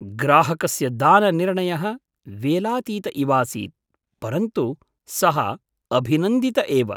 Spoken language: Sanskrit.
ग्राहकस्य दाननिर्णयः वेलातीत इवासीत्, परन्तु सः अभिनन्दित एव।